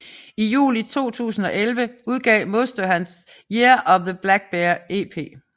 I juli 2011 udgav Musto hans Year of the Blackbear EP